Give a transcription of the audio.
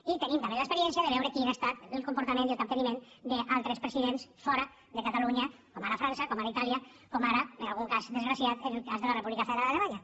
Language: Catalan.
i tenim també l’experiència de veure quin ha estat el comportament i el capteniment d’altres presidents fora de catalunya com ara frança com ara itàlia com ara per a algun cas desgraciat en el cas de la república federal alemanya